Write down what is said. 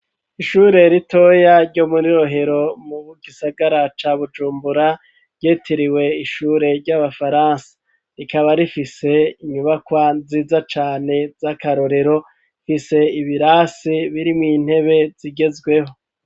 Ishure ritoya ryo muri Rohero mu gisagara ca Bujumbura ryitiriwe ishure ry'Abafaransa ,rikaba rifise inyubakwa nziza cane z'akarorero, rifise ibirasi birimw'intebe zigezweho.